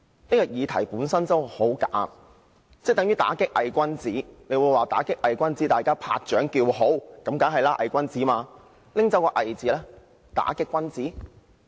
這項議題本身已很"假"，即等於"打擊偽君子"，大家聽到"打擊偽君子"都會拍掌叫好，這是當然的，因為目標是"偽君子"。